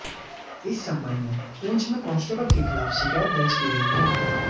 इस संबंध में पुंछ में कांस्टेबल के खिलाफ शिकायत दर्ज की गई है